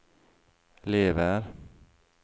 lever